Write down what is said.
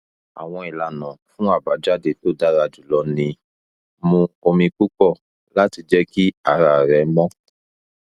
awọn ilana fun abajade to dara julọ ni mú omi pupọ lati jẹ ki ara rẹ mọ